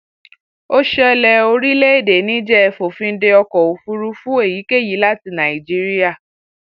ó ṣẹlẹ orílẹèdè níjẹẹ fòfin dé ọkọ òfurufú èyíkéyìí láti nàìjíríà